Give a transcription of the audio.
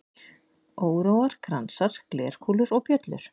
Óróar, kransar, glerkúlur og bjöllur.